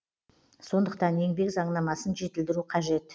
сондықтан еңбек заңнамасын жетілдіру қажет